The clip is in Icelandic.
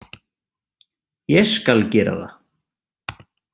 Ég skal gera það.